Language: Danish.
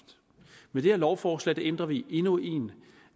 med det her lovforslag ændrer vi endnu en